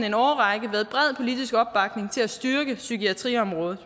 en årrække været bred politisk opbakning til at styrke psykiatriområdet